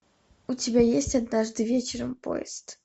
у тебя есть однажды вечером поезд